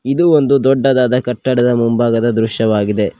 ಇದು ಒಂದು ದೊಡ್ಡದಾದ ಕಟ್ಟಡದ ಮುಂಭಾಗದ ದೃಶ್ಯವಾಗಿದೆ.